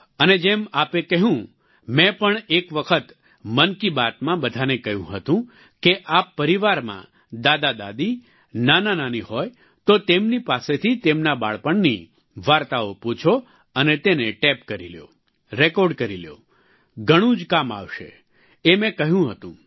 અને જેમ આપે કહ્યું મેં પણ એક વખત મન કી બાતમાં બધાને કહ્યું હતું કે આપ પરિવારમાં દાદાદાદી નાનાનાની હોય તો તેમની પાસેથી તેમના બાળપણની વાર્તાઓ પૂછો અને તેને ટેપ કરી લ્યો રેકોર્ડ કરી લ્યો ઘણું જ કામ આવશે એ મેં કહ્યું હતું